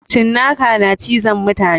Cinaka na cizon mutane